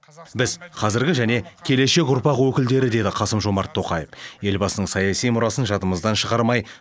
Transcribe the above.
біз қазіргі және келешек ұрпақ өкілдері деді қасым жомарт тоқаев елбасының саяси мұрасын жадымыздан шығармай